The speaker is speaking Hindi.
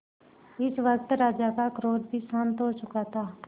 इस वक्त राजा का क्रोध भी शांत हो चुका था